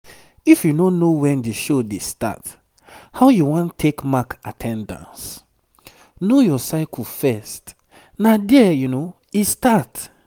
if you no know when the show dey start how you wan take mark at ten dance? know your cycle first na there e start